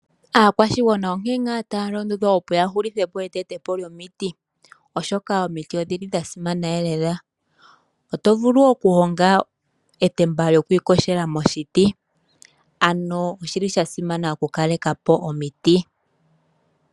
Aakwashigwana onkene ngaa taya londodhwa opo ya hulithe po eteto po lyomiti, oshoka omiti odhili dha simana lela. Oto vulu oku honga etemba lyoku iyogela moshiti. Ano oshili sha simana oku kaleka po omiti.